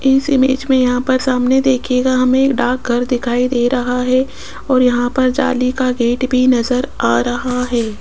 इस इमेज में यहां पर सामने देखियेगा हमें डाकघर दिखाई दे रहा है और यहां पर जाली का गेट भी नजर आ रहा है।